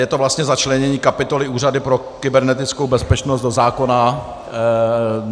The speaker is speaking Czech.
Je to vlastně začlenění kapitoly Úřadu pro kybernetickou bezpečnost do zákona.